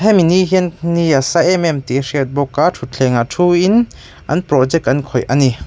hemi ni hian ni asa emem tih a hriatbawk a thuthleng ah thuiin an project an khawih a ni.